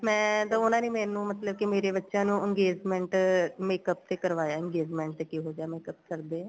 ਮੈਂ ਤਾਂ ਉਹਨਾ ਨੇ ਮੈਨੂੰ ਮਤਲਬ ਕੀ ਮੇਰੇ ਬੱਚਿਆਂ ਨੂੰ engagement makeup ਤੇ ਕਰਵਾਇਆ engagement ਤੇ ਕਿਹੋ ਜਿਹਾ makeup ਕਰਦੇ ਏ